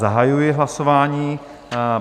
Zahajuji hlasování.